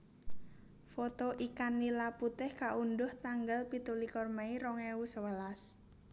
Foto ikan nila putih kaundhuh tanggal pitulikur mei rong ewu sewelas